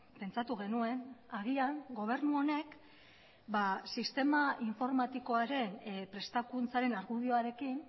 pentsatu genuen agian gobernu honek sistema informatikoaren prestakuntzaren argudioarekin